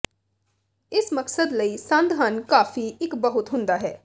ਇਸ ਮਕਸਦ ਲਈ ਸੰਦ ਹਨ ਕਾਫ਼ੀ ਇੱਕ ਬਹੁਤ ਹੁੰਦਾ ਹੈ